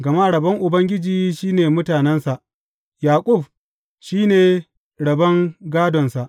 Gama rabon Ubangiji shi ne mutanensa, Yaƙub shi ne rabon gādonsa.